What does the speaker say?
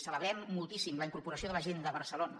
celebrem moltíssim la incorporació de la gent de barcelona